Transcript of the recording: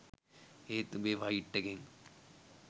ඒත් උඹේ ෆයිට් එකෙන්